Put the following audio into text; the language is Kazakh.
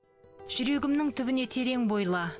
жүрегімнің түбіне терең бойла